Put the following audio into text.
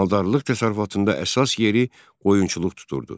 Maldarlıq təsərrüfatında əsas yeri qoyunçuluq tuturdu.